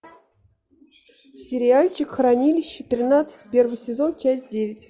сериальчик хранилище тринадцать первый сезон часть девять